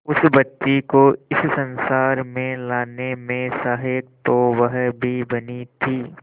उस बच्ची को इस संसार में लाने में सहायक तो वह भी बनी थी